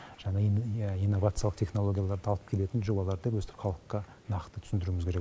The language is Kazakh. жаңа иә инновациялық технологияларды алып келетін жобалар деп өстіп халыққа нақты түсіндіруіміз керек